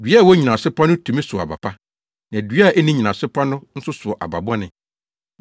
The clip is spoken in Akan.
Dua a ɛwɔ nnyinaso pa no tumi sow aba pa; na dua a enni nnyinaso pa no nso sow aba bɔne.